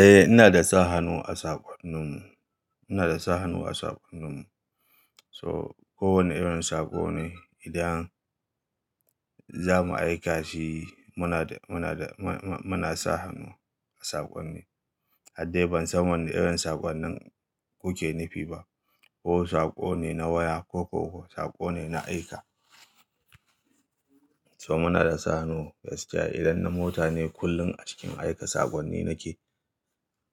Eh, ina da sa hannu a saƙonnin mu. Ina da sa hannu a saƙonnin mu. So kowane irin saƙo ne idan za mu aika shi muna da, muna da, m-m-muna sa hannu a saƙonni. Haddai ban san wana irin saƙonnin kuke nufi ba ko saƙo ne na waya ko ko saƙo ne na aika. So muna da sa hannu, gaskiya idan na mota ne kullum a cikin aika saƙonni nake.